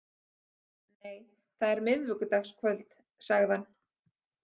Nei, það er miðvikudagskvöld, sagði hann.